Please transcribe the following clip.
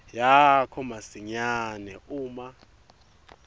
yakho masinyane uma